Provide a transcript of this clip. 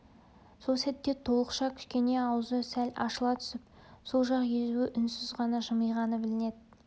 сол сәтте толықша кішкене аузы сәл ашыла түсіп сол жақ езуі үнсіз ғана жымиғаны білінеді